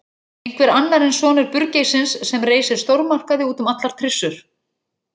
Einhver annar en sonur burgeissins sem reisir stórmarkaði út um allar trissur.